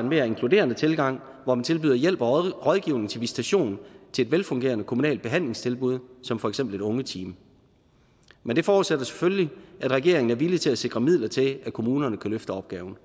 en mere inkluderende tilgang hvor man tilbyder hjælp og rådgivning til visitation til et velfungerende kommunalt behandlingstilbud som for eksempel et ungeteam men det forudsætter selvfølgelig at regeringen er villig til at sikre midler til at kommunerne kan løfte opgaven